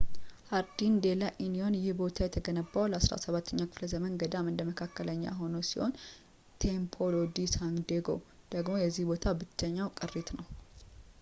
ሃርዲን ዴላ ኢኒዮን ይህ ቦታ የተገነባው ለ17ኛው ክፍለ ዘመን ገዳም እንደ መካከለኛ ክፍል ሲሆን ቴምፕሎ ዲ ሳንዴጎ ደግሞ የዚህ ቦታ ብቸኛው ቅሪት ነው